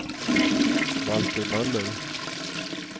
Valter Möller